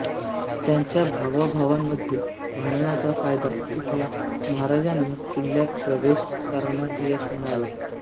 त्यांच्या भावाभावांमधील भांडणाचा फायदा उठवून महाराजांनी किल्ल्यात प्रवेश करण्यात यश मिळवले